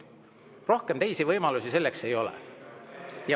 Rohkem võimalusi selleks ei ole.